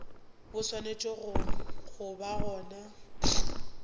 bo swanetše go ba gona